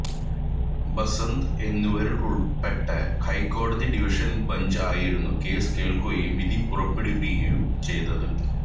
ബസന്ത് എന്നിവരുൾപ്പെട്ട ഹൈക്കോടതി division bench ആയിരുന്നു കേസ് കേൾക്കുകയും വിധി പുറപ്പെടുവിക്കുകയും ചെയ്തത്